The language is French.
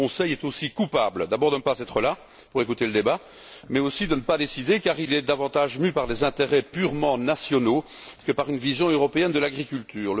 Le Conseil est aussi coupable, d'abord de ne pas être là pour écouter le débat, mais aussi de ne pas décider, car il est davantage mû par des intérêts purement nationaux que par une vision européenne de l'agriculture.